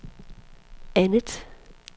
andet